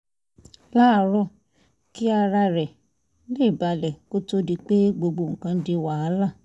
láàárọ̀ kí ara rẹ̀ lè balẹ̀ kó tó di pé gbogbo nǹkan di wàhálà